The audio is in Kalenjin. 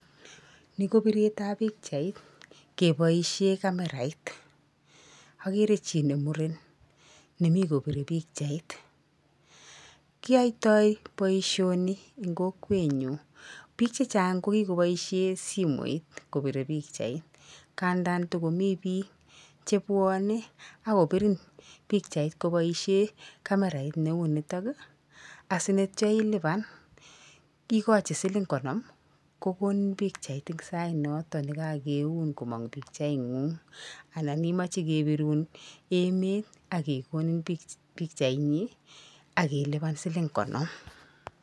Ni ko biretab pikchait keboishe kamerait. akere chi ne muren nemi kopire pikchait. Kiyaitoi boisioni eng kokwenyu. Pik chechang ko kikoboishe simoit kopire pikchait, ngandan takomi bik chebwane akopirin pikchait kobaishe kamertait neu nitok, asinityo ilipan, ikochi siling knom, kokonin pikchait eng sainoto nekakeun komong pikchaing'ung anan imache kebirun emet akekonin pikchainyi akilipan siling konom.